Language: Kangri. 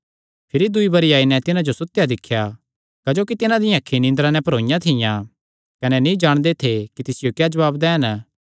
भिरी दूई बरी आई नैं तिन्हां जो सुतेया दिख्या क्जोकि तिन्हां दियां अखीं निंदरा नैं भरोईयां थियां कने नीं जाणदे थे कि तिसियो क्या जवाब दैन